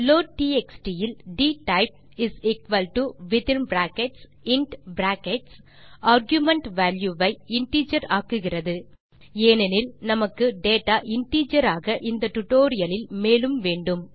லோட்ட்எக்ஸ்ட் இல் dtypewithin bracket int argument value ஐ integer ஆக்குகிறது ஏனெனில் நமக்கு டேட்டா இன்டிஜர் ஆக இந்த tutorialலில் மேலும் வேண்டும்